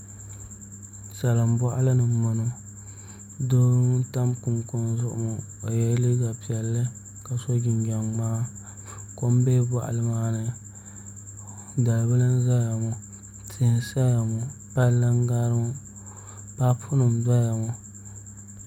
Salin boɣali ni n boŋo doo n tam kunkun zuɣu ŋo o yɛla liiga piɛlli ka so jinjɛm ŋmaa kom bɛ boɣali maa ni dalibili n ʒɛya ŋo tia n saya ŋo palli n gari ŋo paapu nim n doya ŋo